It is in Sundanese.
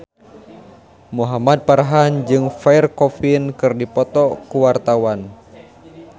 Muhamad Farhan jeung Pierre Coffin keur dipoto ku wartawan